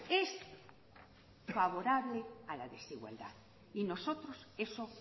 es favorable a la desigualdad y nosotros eso